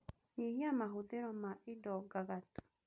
Nyihia mahũthĩro ma indo ngagatu